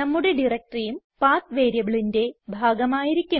നമ്മുടെ directoryയും പത്ത് വേരിയബിളിന്റെ ഭാഗം ആയിരിക്കും